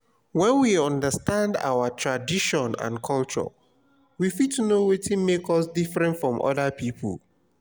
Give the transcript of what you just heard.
when we understand our own tradition and culture we fit know wetin make us different from oda pipo